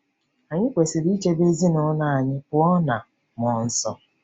Anyị kwesịrị ichebe ezinụlọ anyị pụọ ná mmụọ nsọ.